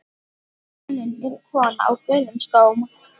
Sólin er kona á gulum skóm.